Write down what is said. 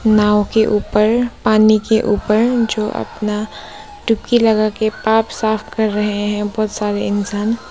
नाव के ऊपर पानी के ऊपर जो अपना डुबकी लगाकर पाप साफ कर रहे हैं बहुत सारे इंसान।